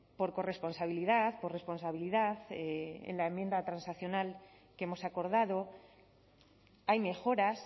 por corresponsabilidad por responsabilidad en la enmienda transaccional que hemos acordado hay mejoras